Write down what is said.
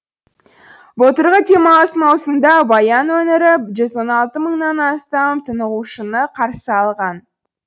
былтырғы демалыс маусымында баян өңірі жүз он алты мыңнан астам тынығушыны қарсы алған